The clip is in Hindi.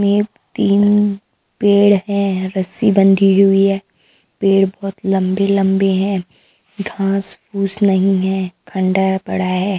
में तीन पेड़ हैं रस्सी बंधी हुई है पेड़ बहुत लंबे लंबे हैं घास फूस नहीं है खण्डहर पड़ा है।